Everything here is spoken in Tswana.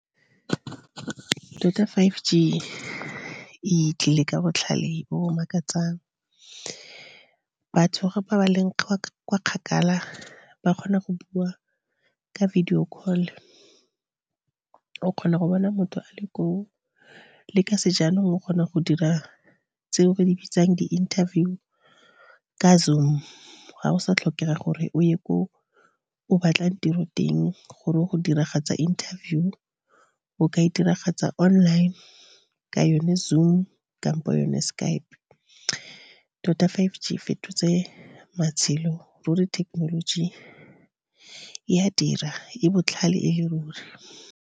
Tota five G e tlile ka botlhale bo bo makatsang. Batho ga ba ba leng kwa kgakala, ba kgona go bua ka video call, o kgona go bona motho a le koo. Le ka sejanong o kgona go dira tseo re di bitsang di-interview ka Zoom, ga go sa tlhokega gore o ye ko o batlang tiro teng gore go diragatsa interview. O ka e diragatsa online ka yone Zoom kampo yone Skype. Tota five G e fetotse matshelo ruri technology e a dira e botlhale e le ruri.